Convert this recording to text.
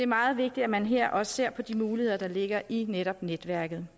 meget vigtigt at man her også ser på de muligheder der ligger i netop netværket